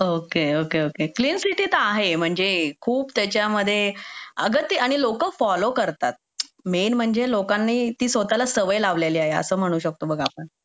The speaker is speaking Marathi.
okay okay okay clean city तर आहे म्हणजे खूप त्याच्यामध्ये अग ते आणि लोक फॉलो करतात मेन म्हणजे लोकांनी स्वतःला त्या सवय लावलेल्या आहे असं म्हणू शकतो आपण